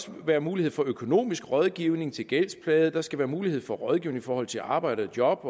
være mulighed for økonomisk rådgivning til gældsplagede at der skal mulighed for rådgivning i forhold til arbejde job